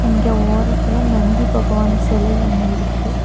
இங்க ஓரத்துல நந்தி பகவான் சிலை ஒன்னு இருக்கு.